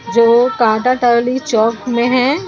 जो कांटाटोली चौक में है .